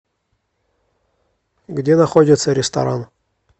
где находится ресторан